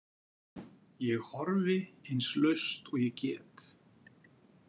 Ég horfi eins laust og ég get.